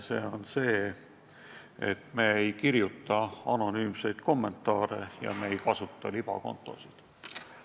See on kokkulepe, et me ei kirjuta anonüümseid kommentaare ja me ei kasuta libakontosid.